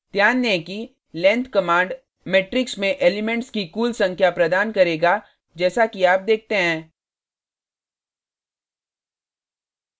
ध्यान दें कि length कमांड मेट्रिक्स में एलिमेंट्स की कुल संख्या प्रदान करेगा जैसा कि आप देखते हैं